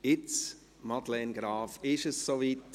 Jetzt, Madeleine Graf, ist es so weit: